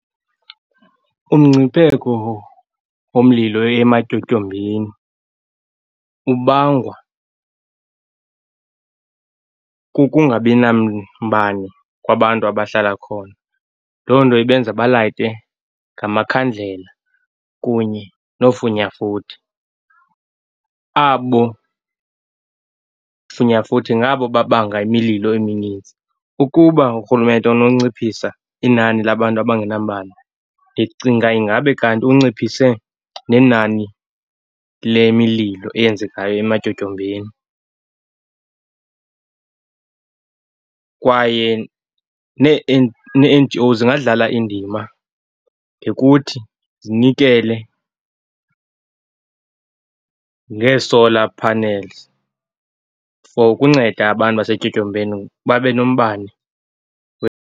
Umngcipheko womlilo ematyotyombeni ubangwa kukungabi nambane kwabantu abahlala khona. Loo nto ibenza balayite ngamakhandlela kunye nofunyafuthi. Abo funyafuthi ngabo babanga imililo eminintsi. Ukuba urhulumente unonciphisa inani labantu abangenambane, ndicinga ingabe kanti unciphise nenani le mililo eyenzekayo ematyotyombeni. Kwaye neeNGO zingadlala indima ngokuthi zinikele ngee-solar panels for ukunceda abantu basetyotyombeni babe nombane.